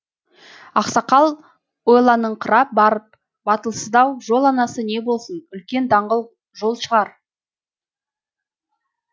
ақсақал ойланыңқырап барып батылсыздау жол анасы не болсын үлкен даңғыл жол шығар